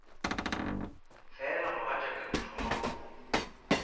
fela mogatšaka ke thoma go